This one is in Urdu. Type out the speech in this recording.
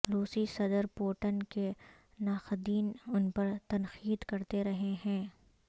روسی صدر پوٹن کے ناقدین ان پر تنقید کرتے رہے ہیں